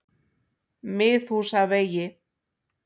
Miðhúsavegi